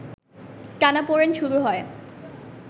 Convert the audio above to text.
টানাপড়েন শুরু হয়